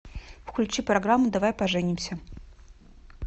включи программу давай поженимся